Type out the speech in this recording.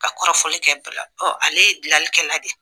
Ka kɔrɔfɔli kɛ bala ale ye dilanlikɛla de ye